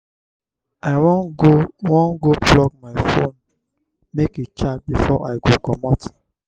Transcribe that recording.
i wan go wan go plug my fone make e charge before i go comot.